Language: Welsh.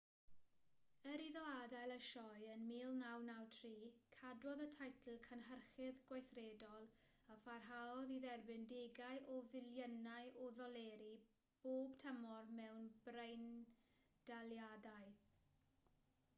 er iddo adael y sioe yn 1993 cadwodd y teitl cynhyrchydd gweithredol a pharhaodd i dderbyn degau o filiynau o ddoleri bob tymor mewn breindaliadau